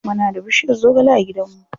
Muna da bushiyar zogale a gidan mu.